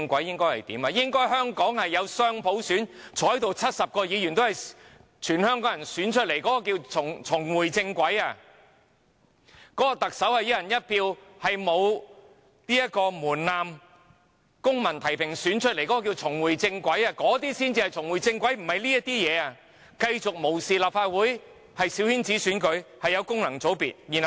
香港應該落實雙普選 ，70 名議員全數由香港人選出，這樣才是重回正軌；特首應該由沒有門檻的公民提名、市民"一人一票"選舉產生，這才是重回正軌，而不是繼續無視立法會、繼續保留小圈子選舉和功能界別。